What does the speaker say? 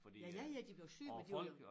Ja ja ja de blev syge men de var jo